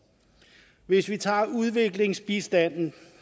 hvis vi tager udviklingsbistanden